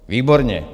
Výborně!